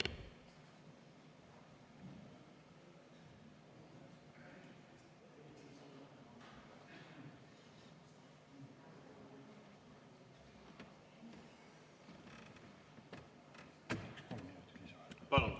Palun!